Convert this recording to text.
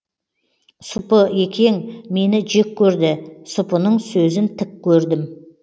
сұпыекең мені жек көрді сұпының сөзін тік көрдім